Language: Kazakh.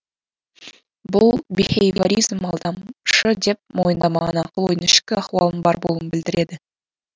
бұл бихейворизм алдамшы деп мойындамаған ақыл ойдың ішкі ахуалының бар болуын білдіреді